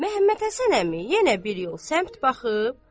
Məmmədhəsən əmi yenə bir yol səmt baxıb.